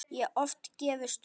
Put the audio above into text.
Og oft gefist upp.